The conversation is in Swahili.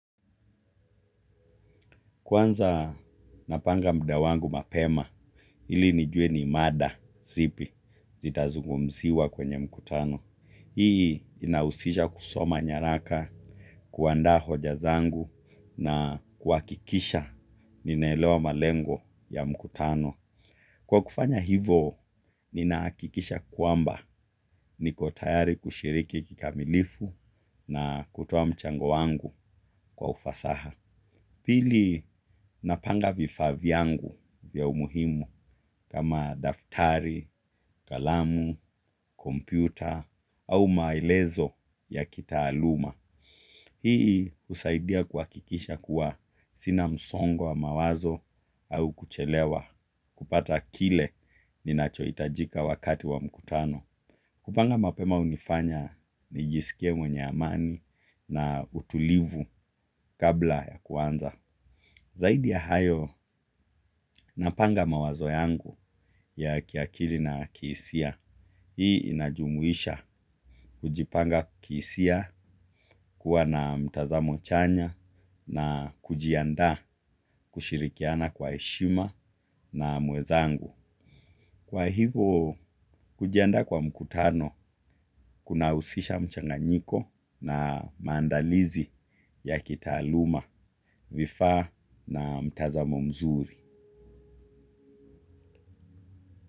Kwanza napanga muda wangu mapema ili nijue ni mada zipi zita zungumziwa kwenye mkutano. Hii inahusisha kusoma nyaraka kuandaa hoja zangu na kuhakikisha ninaelewa malengo ya mkutano. Kwa kufanya hivo ninahakikisha kwamba niko tayari kushiriki kikamilifu na kutoa mchango wangu kwa ufasaha. Pili napanga vifaa vyangu vya umuhimu kama daftari, kalamu, kompyuta au maelezo ya kitaaluma. Hii husaidia kuhakikisha kuwa sina msongo wa mawazo au kuchelewa kupata kile ninachohitajika wakati wa mkutano. Kupanga mapema hunifanya nijisikie mwenye amani na utulivu kabla ya kuanza. Zaidi ya hayo, napanga mawazo yangu ya kiakili na kisia. Hii inajumuisha kujipanga kihisia kuwa na mtazamo chanya na kujianda kushirikiana kwa heshima na mwenzangu. Kwa hivo, kujiandaa kwa mkutano kunahusisha mchanganyiko na maandalizi ya kitaaluma vifaa na mtazamo mzuri.